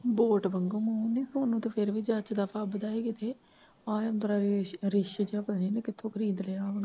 Boat ਵਾਂਗੂ ਮੂੰਹ ਸਾਨੂੰ ਤਾਂ ਫਿਰ ਵੀ ਜੱਚਦਾ ਫੱਬਦਾ ਹੀ ਕਿਤੇ ਆ ਬ ਰਿੱਛ ਜਿਹਾ ਇੰਨੇ ਪਤਾ ਨੀ ਕਿੱਥੋਂ ਖਰੀਦ ਲਿਆ ਹੁਣ।